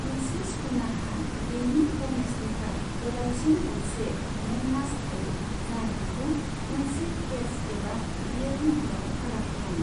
मोनसे स्कूनारहा बेनि फर्मेस्टनिफ्राय गोलावसिन गंसे मेनमास्ट थायो, जाय बेखौ मोनसे केत्च एबा इयल महराव फाराग खालामो।